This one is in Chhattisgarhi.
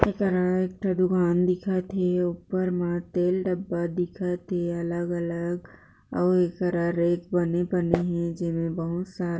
एकरा एक ठो दुकान दिखत थे ऊपर मा तेल डब्बा दिखत थे अलग-अलग अउ एकरा रेक बने-बने हे जिमे बहुत सारा